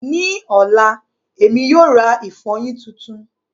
Ní ọ̀la, Èmi yóò ra ìfọyín tuntun